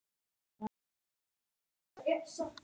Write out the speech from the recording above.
Þetta er mikil saga!